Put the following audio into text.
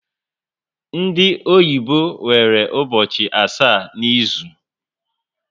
Ndị oyibo nwere ụbọchị asaá n'izu